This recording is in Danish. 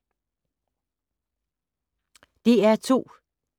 DR2